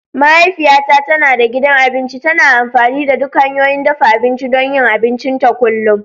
Mahaifiyata tana da gidan abinci, tana amfani da duk hanyoyin dafa abinci don yin abincinta kullum.